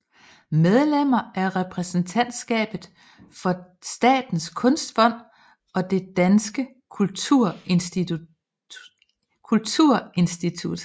Medlem af repræsentantskabet for Statens Kunstfond og Det Danske Kulturinstitut